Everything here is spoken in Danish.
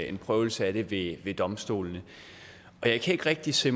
en prøvelse af det ved domstolene jeg kan ikke rigtig se